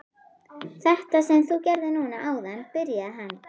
Þetta sem þú gerðir núna áðan byrjaði hann.